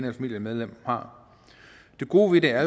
et familiemedlem har det gode ved det er